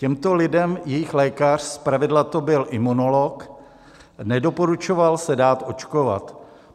Těmto lidem jejich lékař, zpravidla to byl imunolog, nedoporučoval se dát očkovat.